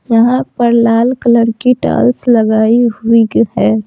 यहां पर लाल कलर की टॉल्स लगाई हुई है।